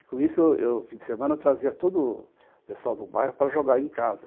E com isso, eu, no fim de semana, eu trazia todo o pessoal do bairro para jogar aí em casa.